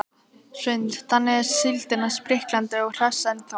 Hrund: Þannig að síldin er spriklandi og hress ennþá?